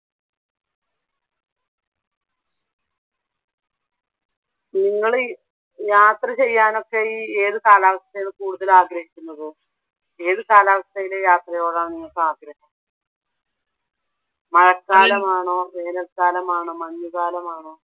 നിങ്ങള് യാത്രചെയ്യാനൊക്കെ ഈ ഏതു കാലാവസ്ഥയാണ് കൂടുതൽ ആഗ്രഹിക്കുന്നത്? ഏതു കലാവസ്ഥയിലെ യാത്രയോടാണ് നിങ്ങൾക്ക് ആഗ്രഹം? മഴക്കാലമാണൊ, വേനല്ക്കാലമാണോ മഞ്ഞുകാലമാണോ?